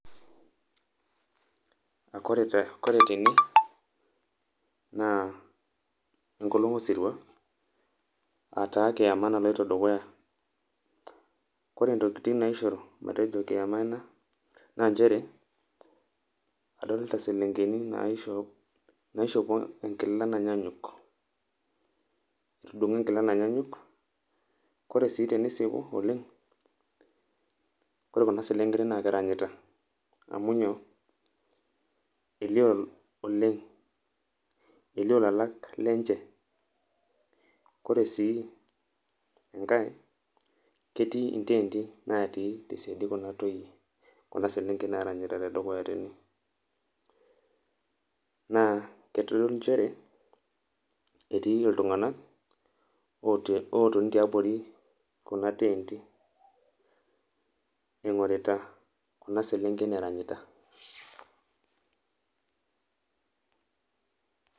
Kore tene naa enkolong sirua aa taa kiema naloto dukuya, kore ntokitin naisharu matejo kiema ena naa inchere adolita selenkeni naishopo enkila nanyanyuk, etudung'o enkila nanyanyuk, kore sii tenisipu oleng kore kuna selenken naa keranyita amu nyoo, eolioo oleng elio lalak lenche, ore sii enkae ketii intenti natii te siadi kuna toiye kuna selenken naaranyita te dukuya tene naa keitodolu inchere ketii ltunganka ootoni te abori kuna teenti eing'orita kuna selenken eranyita.